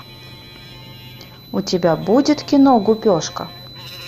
у тебя будет кино гупешка